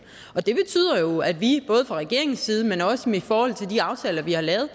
og det betyder jo at vi både fra regeringens side men også i forhold til de aftaler vi har lavet